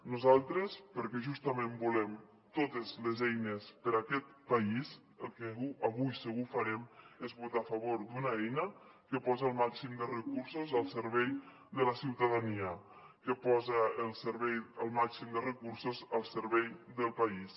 nosaltres perquè justament volem totes les eines per a aquest país el que avui segur que farem és votar a favor d’una eina que posa el màxim de recursos al servei de la ciutadania que posa el màxim de recursos al servei del país